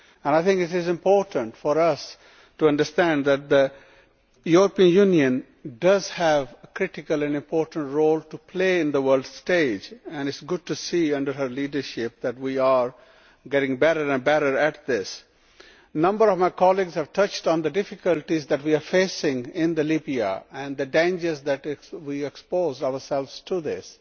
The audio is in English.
I think it is important for us to understand that the European Union does have a critical role to play on the world stage and it is good to see that, under her leadership, we are getting better and better at this. A number of my colleagues have touched on the difficulties that we are facing in Libya and the dangers that we expose ourselves to in this.